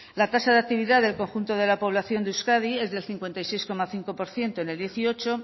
la tasa de actividad del conjunto de la población de euskadi es del cincuenta y seis coma cinco por ciento en el dos mil dieciocho